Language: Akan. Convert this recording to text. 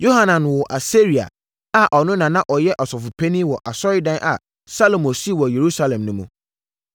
Yohanan woo Asaria, a ɔno na na ɔyɛ ɔsɔfopanin wɔ asɔredan a Salomo sii wɔ Yerusalem no mu.